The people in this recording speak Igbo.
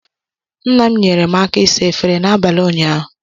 Nna m nyeere m aka ịsa efere n'abalị ụnyaahụ